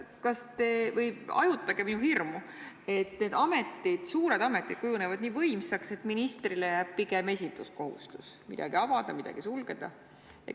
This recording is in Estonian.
Hajutage minu hirmu, et need suured ametid kujunevad nii võimsaks, et ministrile jääb pigem esinduskohustus, et midagi avada, midagi sulgeda.